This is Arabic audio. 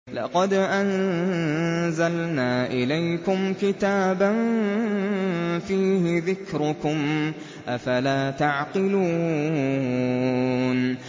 لَقَدْ أَنزَلْنَا إِلَيْكُمْ كِتَابًا فِيهِ ذِكْرُكُمْ ۖ أَفَلَا تَعْقِلُونَ